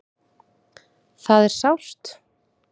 Það er sárt.